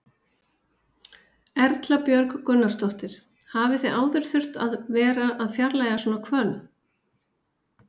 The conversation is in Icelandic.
Erla Björg Gunnarsdóttir: Hafið þið áður þurft að vera að fjarlægja svona hvönn?